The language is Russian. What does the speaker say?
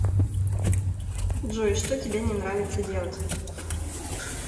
джой что тебя не нравится делать